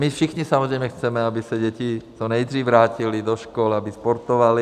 My všichni samozřejmě chceme, aby se děti co nejdřív vrátily do škol, aby sportovaly.